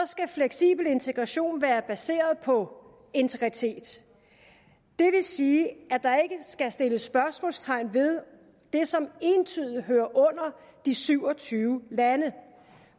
skal fleksibel integration være baseret på integritet det vil sige at der ikke skal sættes spørgsmålstegn ved det som entydigt hører under de syv og tyve lande